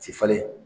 Ti falen